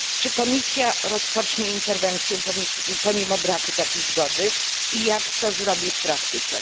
Czy Komisja rozpocznie interwencję pomimo braku takiej zgody i jak to zrobi w praktyce?